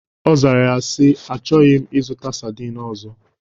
Ọ zara ya si: Achọghị m ịzụta sardin ọzọ